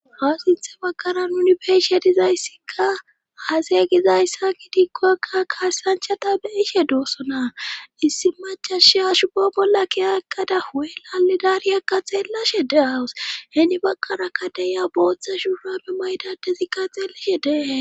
ha sinthe baqara nuni beeshe dizayssikka aasaya gi zayssaki diikkokka kaasanchata be'ishe du'ossonaa issi macashia shubo bolla ki aekada huwelalidariyakka xeellashe de'awus heeni baqara kade ya booththa shuurabe maydadezikka xeellishe dehe